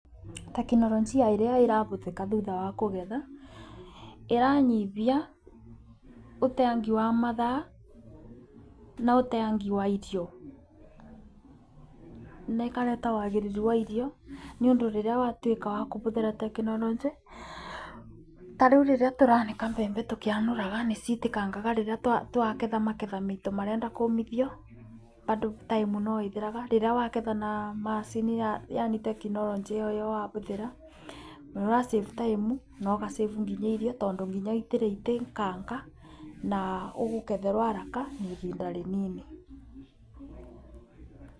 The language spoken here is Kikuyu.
Tekinoronjia ĩrĩa ĩrabũthĩka thutha wa kũgetha ĩranyibia ũteangi wa mathaa na ũteangi wa irio, na ĩkareta wagĩrĩru wa irio. Nĩ ũndũ rĩrĩa watuĩka wa kũbũthĩra tekinoronjĩ tarĩu rĩrĩa tũranĩka mbembe tũkĩanũraga nĩ citĩkangangaga rĩrĩa twaketha maketha maitũ marenda kũmithio. Bado time no ĩthiraga rĩrĩa wagetha na macini yani tekinoronjĩ ĩyo ũrabũthĩra nĩ ũra save time na ũga save nginya irio tondũ nginya itiraitĩkanga na ũkũgetherwo haraka na ibinda rĩnini.